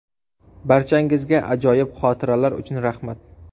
Barchangizga ajoyib xotiralar uchun rahmat.